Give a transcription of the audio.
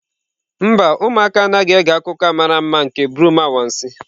Mba, ụmụaka anaghị ege akụkọ a mara mma nke broom anwansi.